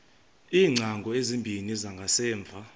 iingcango ezimbini zangasemva